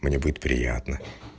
мне будет приятно